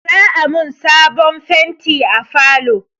Za'a mun sabon fenti a falo.